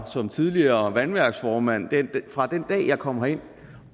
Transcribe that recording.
som tidligere vandværksformand fra den dag jeg kom herind